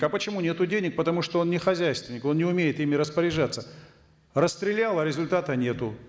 а почему нету денег потому что он не хозяйственник он не умеет ими распоряжаться расстрелял а результата нету